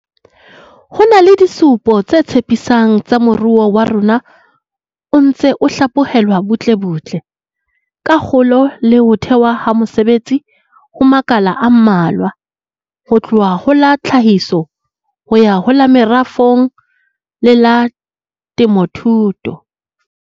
Ho na le disupo tse tshepi sang tsa hore moruo wa rona o ntse o hlaphohelwa butlebutle, ka kgolo le ho thehwa ha mesebetsi ho makala a mmalwa, ho tloha ho la tlhahiso ho ya ho la merafong le la temothuo.